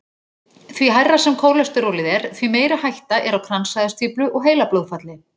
Því hærra sem kólesterólið er, því meiri hætta er á kransæðastíflu og heilablóðfalli.